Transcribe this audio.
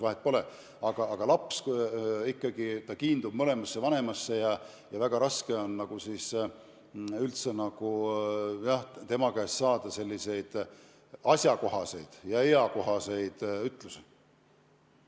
Vahet pole, laps ikkagi kiindub mõlemasse vanemasse ja väga raske on tema käest saada asjakohaseid ja eakohaseid ütlusi.